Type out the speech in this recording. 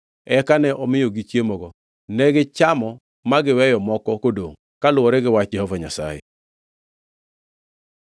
Eka ne omiyogi chiemogo, negichamo ma giweyo moko kodongʼ kaluwore gi wach Jehova Nyasaye.